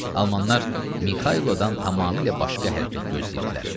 Almanlar Mixaylodan tamamilə başqa hərəkət gözləyirdilər.